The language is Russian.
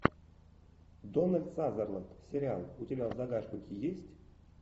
дональд сазерленд сериал у тебя в загашнике есть